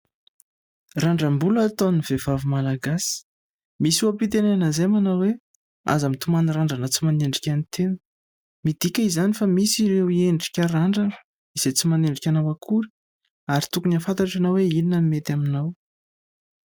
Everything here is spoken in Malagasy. randram-bola ataon'ny vehivavy malagasy misy oha-pitenena izay manao hoe aza mitomany randrana tsy manendrika ny tena midika izany fa misy ireo endrika randrana izay tsy manendrika anao akory ary tokony ho fantatrao hoe inona ny mety aminao